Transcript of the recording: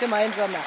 gemeinsam handeln.